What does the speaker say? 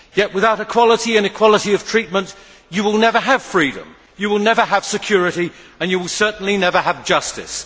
Yet without equality and equality of treatment, you will never have freedom, you will never have security and you will certainly never have justice.